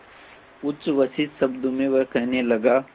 उच्छ्वसित शब्दों में वह कहने लगा